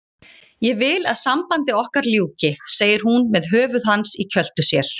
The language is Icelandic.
Ég vil að sambandi okkar ljúki, segir hún með höfuð hans í kjöltu sér.